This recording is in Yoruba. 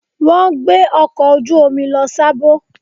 Wọ́n gbé ọkọ̀ ojú omi lọ Sábó.